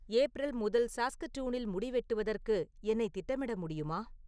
April முதல் சாஸ்கடூனில் முடி வெட்டுவதற்கு என்னை திட்டமிட முடியுமா